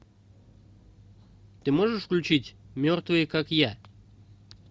ты можешь включить мертвые как я